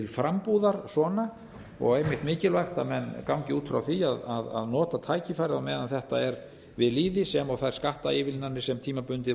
frambúðar svona og einmitt mikilvægt að menn gangi út frá því að nota tækifærið á meðan þetta er við lýði sem og þær skattaívilnanir sem tímabundið